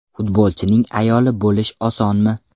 Futbolchining ayoli bo‘lish osonmi?